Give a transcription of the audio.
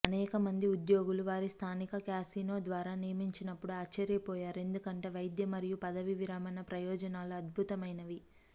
అనేకమంది ఉద్యోగులు వారి స్థానిక క్యాసినో ద్వారా నియమించినప్పుడు ఆశ్చర్యపోయారు ఎందుకంటే వైద్య మరియు పదవీ విరమణ ప్రయోజనాలు అద్భుతమైనవి